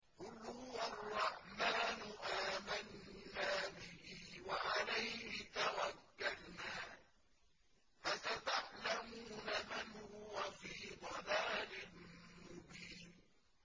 قُلْ هُوَ الرَّحْمَٰنُ آمَنَّا بِهِ وَعَلَيْهِ تَوَكَّلْنَا ۖ فَسَتَعْلَمُونَ مَنْ هُوَ فِي ضَلَالٍ مُّبِينٍ